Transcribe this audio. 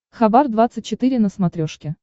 хабар двадцать четыре на смотрешке